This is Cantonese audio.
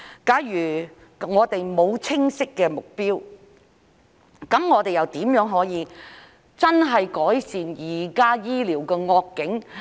假如沒有清晰的目標，又如何可以真正改善現時醫療的惡境？